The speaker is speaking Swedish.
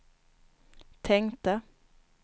tänkte